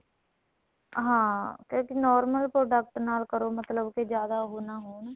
ਹਾਂ ਕਿਉਂਕਿ normal product ਨਾਲ ਕਰੋ ਮਤਲਬ ਕੇ ਜਿਆਦਾ ਉਹ ਨਾ ਹੋਣ